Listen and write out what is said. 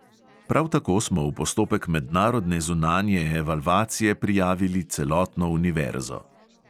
Prav tako smo v postopek mednarodne zunanje evalvacije prijavili celotno univerzo.